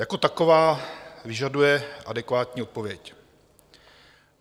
Jako taková vyžaduje adekvátní odpověď.